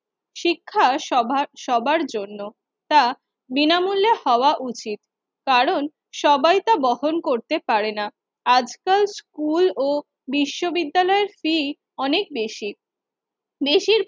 শিক্ষা সভা সবার জন্য। তা বিনামূল্যে হওয়া উচিত, কারণ সবাই তা বহন করতে পারে না। আজকাল স্কুল ও বিশ্ব বিদ্যালয়ের ফী অনেক বেশি। বেশির